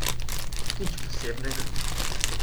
Nič posebnega.